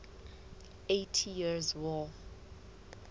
eighty years war